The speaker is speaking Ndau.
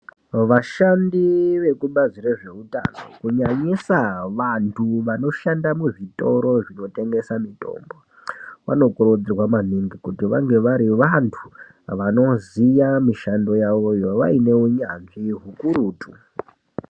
Vashandi vekubazi rezveutano kunyanyisa vantu vanoshanda muzvitoro zvinotengesa mitombo, vanokurudzirwa maningi kuti vange vari vantu vanoziya mishando yavo, vaine unyanzvi hukurutu.